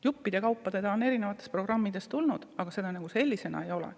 Juppide kaupa on seda eri programmides olnud, aga sellisena ei ole.